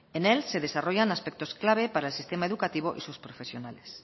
en él se desarrollan aspectos clave para el sistema educativo y sus profesionales